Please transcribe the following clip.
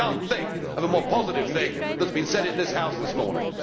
I cannot think of a more positive thing that has been said in this House this morning.